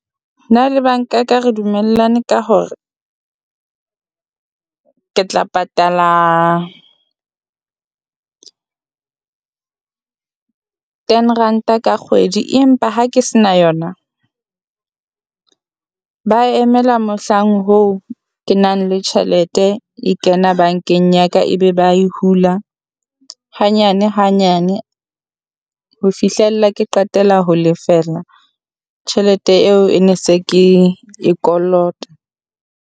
Na le banka ka re dumellane ka hore ke tla patala ten ranta ka kgwedi, empa ha ke se na yona ba emela mohlang hoo ke nang le tjhelete e kena bankeng ya ka. Ebe ba e hula hanyane hanyane ho fihlella ke qetela ho lefela tjhelete eo e ne se ke e kolota.